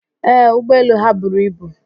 Ee, ụgbọelu ha buru ibu.